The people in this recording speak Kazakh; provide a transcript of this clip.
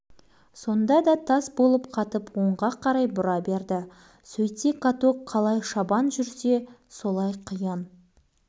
әне-міне дегенше каток көшеттерді жанап өтіп қайтадан алаңқайға бет түзеді балалар қапталдап секіріп шулап жүр бауыржан